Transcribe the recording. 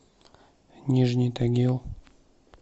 нижний тагил